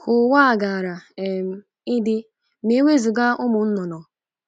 Ka ụwa gaara um idị ma e wezụga ụmụ nnụnụ